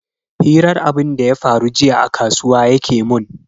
Hirar abunda ya faru jiya a kasuwa yake mun.